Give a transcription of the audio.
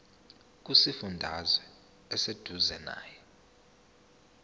kusifundazwe oseduzane nawe